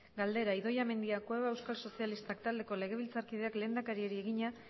galdera idoia mendia cueva euskal sozialistak taldeko legebiltzarkideak lehendakariari egina